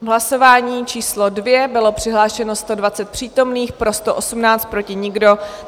V hlasování číslo 2 bylo přihlášeno 120 přítomných, pro 118, proti nikdo.